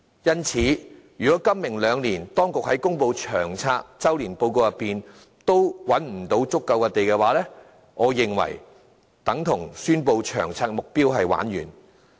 因此，如果今、明兩年當局在公布《長遠房屋策略》周年報告時仍無法覓得足夠土地建屋的話，我認為這便等同宣布《長遠房屋策略》的目標完蛋。